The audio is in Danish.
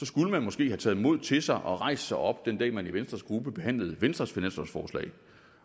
skulle man måske have taget mod til sig og rejst sig op den dag man i venstres gruppe behandlede venstres finanslovsforslag